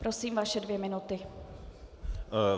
Prosím, vaše dvě minuty.